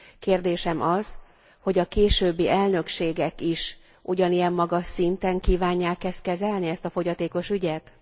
Kérdésem az, hogy a későbbi elnökségek is ugyanilyen magas szinten kívánják e ezt kezelni, ezt a fogyatékos ügyet?